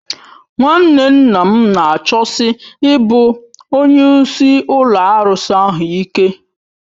Nwanne nna m na-achọsi ịbụ onye isi ụlọ arụsị ahụ ike